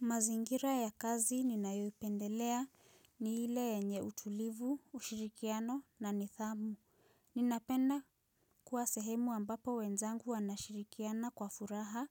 Mazingira ya kazi ninayoipendelea ni hile yenye utulivu, ushirikiano na nithamu. Ninapenda kuwa sehemu ambapo wenzangu wanashirikiana kwa furaha